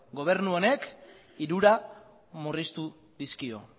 gobernu honek hirura murriztu dizkio